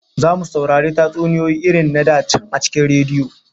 Zamu saurari tatsuniyoyi irin na da can a cikin rediyo